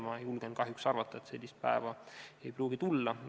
Ma julgen kahjuks arvata, et sellist päeva ei pruugigi tulla.